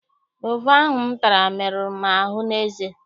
Gova ahụ m tara meruru m ahụ n'eze.